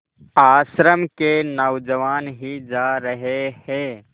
आश्रम के नौजवान ही जा रहे हैं